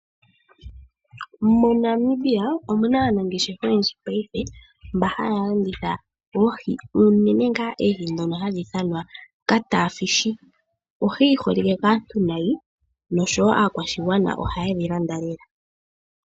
MoNamibia omuna aanangeshefa oyendji payife mboka haya landitha oohi, unene ngaa oohi ndhono hadhi ithanwa Kataafish. Ohi yiholike kaantu nayi, nosho wo aakwashigwana ohaye dhi landa lela.